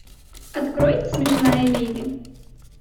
открой смешная леди